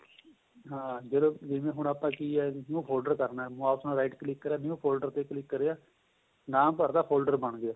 ਹਾਂ ਜਦੋਂ ਜਿਵੇਂ ਹੁਣ ਆਪਾਂ ਕਿ ਏ ਉਹ folder ਕਰਨਾ ਏ mouse ਨਾਲ write click ਕਰਿਆ ਵੀ ਉਹ folder ਤੇ click ਕਰਿਆ ਨਾਮ ਭਰਦਾ folder ਬਣ ਗਿਆ